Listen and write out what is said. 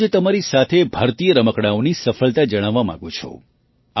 હું આજે તમારી સાથે ભારતીય રમકડાંઓની સફળતા જણાવવા માગું છું